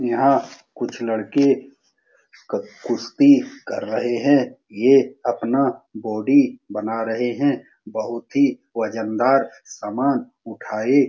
यहाँ कुछ लड़के क कुस्ती कर रहे हैं। ये अपना बॉडी बना रहे हैं। बहुत ही वजन दार सामान उठाये --